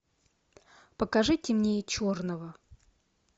покажи темнее черного